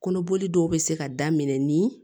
Kɔnɔboli dɔw bɛ se ka daminɛ ni